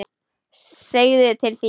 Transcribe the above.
Segðu til þín!